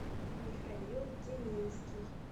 михаил деминский